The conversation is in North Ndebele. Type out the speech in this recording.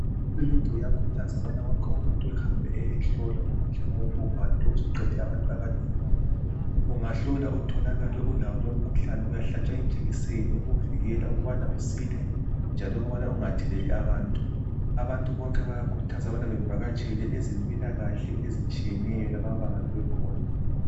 Uhulumende uyakhuthaza ukubana wonke umuntu ehambe eyahlolwa umkhuhlane wobhubhane lo osuqede abantu abanengi. Ungahlola utholakala ulayo lomkhuhlane uyahlatshwa ijekiseni eyikuvikela ukubana usile njalo ubana ukungatheleli abanye abantu. Abantu bayakhuthazwa ukubana bavakatshele ezimpilakahle ezitshiyeneyo lapho abangabe bekhona.